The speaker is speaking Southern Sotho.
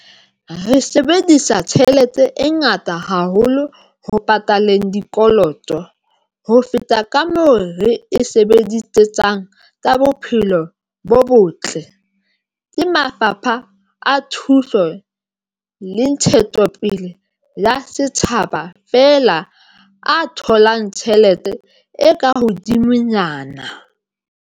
Re sebedisa tjhelete e ngata haholo ho pataleng dikoloto, ho feta kamoo re e sebedisetsang tsa bophelo bo botle, ke mafapha a thuto le ntshetsopele ya setjhaba fela a tholang tjhelete e ka hodimo nyana.